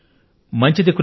మంచిది మంచిది